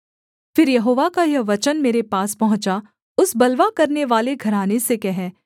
फिर यहोवा का यह वचन मेरे पास पहुँचा उस बलवा करनेवाले घराने से कह